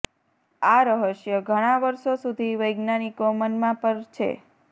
આ રહસ્ય ઘણાં વર્ષો સુધી વૈજ્ઞાનિકો મનમાં પર છે